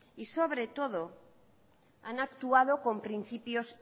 y sobre todo han actuado con principios